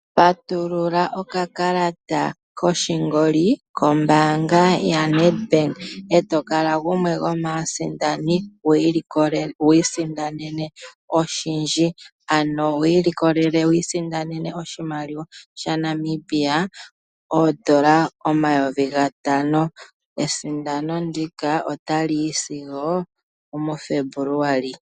Patulula okakalata koshingoli kombaanga ya Nedbank, e tokala gumwe go maasindano wii sindanene oshindji. Ano wiilikolele, wisindanene oshimaliwa sha Namibia oondola omayovi gatano. Esindano ndika ota li yi sigo omu Febuluali.